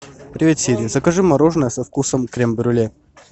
привет сири закажи мороженое со вкусом крем брюле